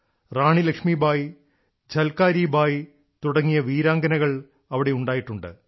റാണി ലക്ഷ്മി ബായ് ഝൽക്കാരി ബായി തുടങ്ങിയ വീരാംഗനകൾ ഇവിടെ ഉണ്ടായിട്ടുണ്ട്